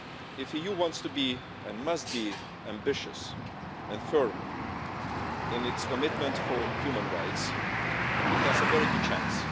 If the EU wants to be and it must be ambitious and firm in its commitment to human rights, it has a very good chance.